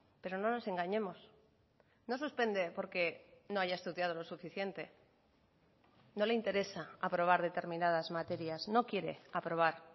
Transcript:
pero no nos engañemos no suspende porque no haya estudiado lo suficiente no le interesa aprobar determinadas materias no quiere aprobar